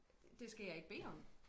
Det skal jeg ikke bede om